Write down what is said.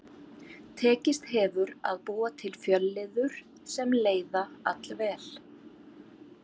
Tekist hefur að búa til fjölliður sem leiða allvel.